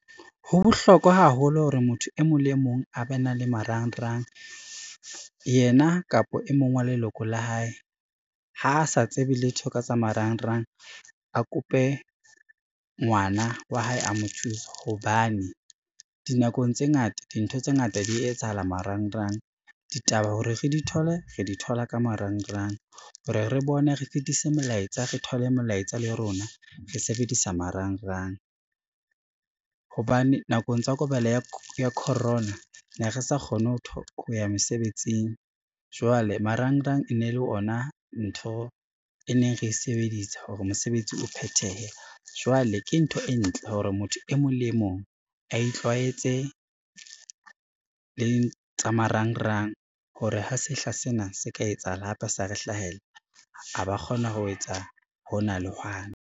Ho bohlokwa haholo hore motho e mong le mong a ba na le marangrang, yena kapa e mong wa leloko la hae. Ha sa tsebe letho ka tsa marangrang, a kope ngwana wa hae a mo thuse hobane dinakong tse ngata dintho tse ngata di etsahala marangrang. Ditaba hore re di thole re di thola ka marangrang, hore re bone re fetise molaetsa re thole molaetsa le rona re sebedisa marangrang, hobane nakong tsa ya corona ne re sa kgone ho ya mosebetsing jwale marangrang e ne le ona ntho e neng re e sebedisa hore mosebetsi o phethehe. Jwale ke ntho e ntle hore motho e mong le e mong a itlwaetse le tsa marangrang hore ha sehla sena se ka etsahala hape sa re hlahella, a ba kgona ho etsa hona le hwane.